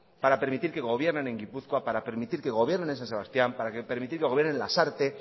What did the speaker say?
para permitir que gobiernen en gipuzkoa para permitir que gobiernen en san sebastián para permitir que gobiernen en lasarte